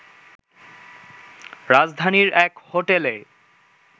রাজধানীর এক হোটেলে